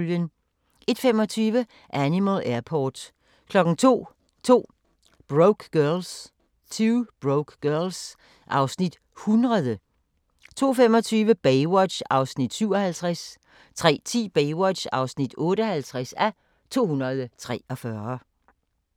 01:25: Animal Airport 02:00: 2 Broke Girls (Afs. 100) 02:25: Baywatch (57:243) 03:10: Baywatch (58:243)